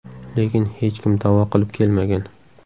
Lekin hech kim da’vo qilib kelmagan.